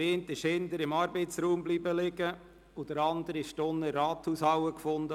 Der eine blieb hinten im Arbeitsraum liegen, der andere wurde unten in der Rathaushalle gefunden.